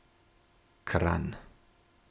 Kranj.